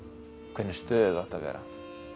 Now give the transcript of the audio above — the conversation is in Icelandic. hvernig stöðu þú átt að vera